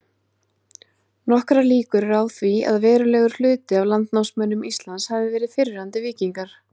Nokkrar líkur eru á því að verulegur hluti af landnámsmönnum Íslands hafi verið fyrrverandi víkingar.